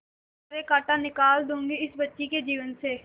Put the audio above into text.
सारे कांटा निकाल दूंगी इस बच्ची के जीवन से